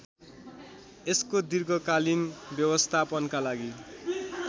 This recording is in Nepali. यसको दीर्घकालीन व्यवस्थापनका लागि